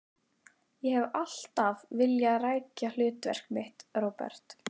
Ég hef alltaf vilja rækja hlutverk mitt, Róbert.